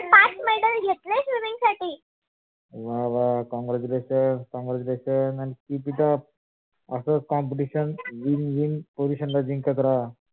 वा वा congratulations congratulations and keep it up असच competition win win position ला जिंकत रहा.